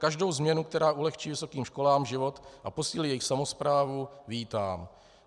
Každou změnu, která ulehčí vysokým školám život a posílí jejich samosprávu, vítám.